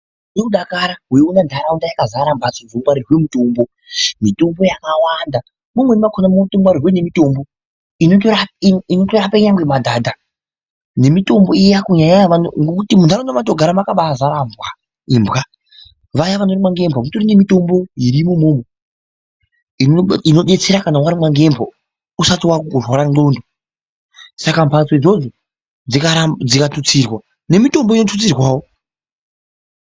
Unozwe kudakara weiona nharaunda yakazara mhatso dzinongwarirwa mitombo ,mitombo yakawanda .Mumweni makhona munongwarirwe nemitombo inotorape nyangwe madhadha nemitombo iya kunyanya, nekuti munharaunda mwetinogara mwakaba azara imbwa . Vaya vanorumwa ngembwa kutori nemitombo irimo imomo inodetsera kana warumwa ngembwa usati waakurware ndhlondo saka mhatso idzodzo dzikathutsirwa ,nemitombo inothutsirwawo.